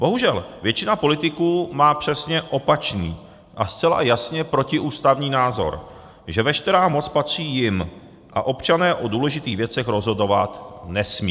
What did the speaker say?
Bohužel většina politiků má přesně opačný a zcela jasně protiústavní názor, že veškerá moc patří jim a občané o důležitých věcech rozhodovat nesmějí.